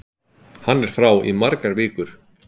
Hann er frá í margar vikur.